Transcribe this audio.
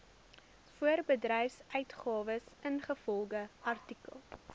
voorbedryfsuitgawes ingevolge artikel